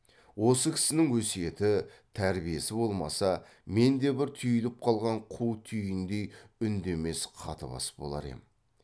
осы кісінің өсиеті тәрбиесі болмаса мен де бір түйіліп қалған қу түйіндей үндемес қатыбас болар ем